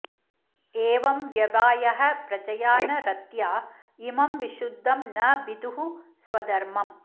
एवं व्यवायः प्रजया न रत्या इमं विशुद्धं न विदुः स्वधर्मम्